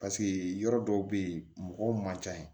yɔrɔ dɔw bɛ yen mɔgɔw man ca yen